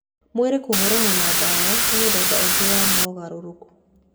Mwĩrĩ kũhũrana na ndawa nĩ mũthemba ũngĩ wa mogarũrũku.